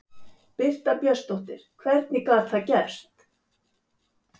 Birta Björnsdóttir: Hvernig gat það gerst?